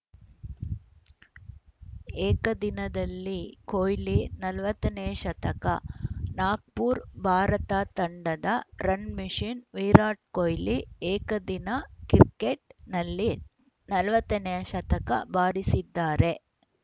ಏಕದಿನದಲ್ಲಿ ಕೊಹ್ಲಿ ನಲ್ವತ್ತನೇ ಶತಕ ನಾಗ್ಪುರ್ ಭಾರತ ತಂಡದ ರನ್‌ ಮಷಿನ್‌ ವಿರಾಟ್‌ ಕೊಹ್ಲಿ ಏಕದಿನ ಕ್ರಿಕೆಟ್‌ನಲ್ಲಿ ನಲವತ್ತ ನೇ ಶತಕ ಬಾರಿಸಿದ್ದಾರೆ